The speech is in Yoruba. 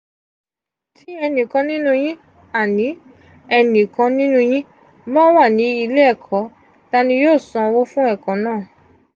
ti enikan ninu yin enikan ninu yin ba wa ni ile eko ta ni yoo sanwo fun eko naa?